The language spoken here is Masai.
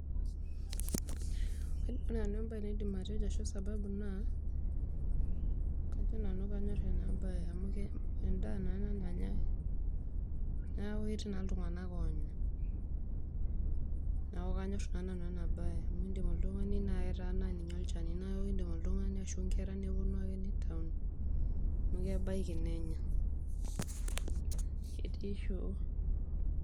Ore enabae naidim atejo ashu sababu kajo nanu kanyor enabae amu mintaa naa endaa nanyae, neaku ketii naa ltunganak onya, neaku kanyor nanu enabae amu kindim oltungani aitaa olchani ashu nkera neponu ake nitau amu kebaki nenya.